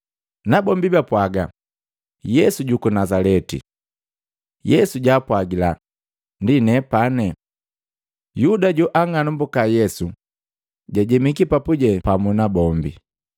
Nabombi bapwaga, “Yesu juku Nazaleti!” Yesu jaapwagila, “Ndi nepane!” Yuda joang'anambuka Yesu jajemiki papuje pamu nabu.